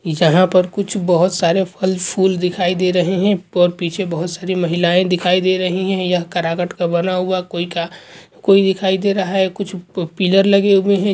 इ जहाँ पर कुछ बहुत सारे फल-फूल दिखाई दे रहे हैं पर पीछे बहुत सारी महिलाएं दिखाई दे रही हैं यह करकट का बना हुआ कोई का कोई दिखाई दे रहा है कुछ प पिलर लगे हुए हैं।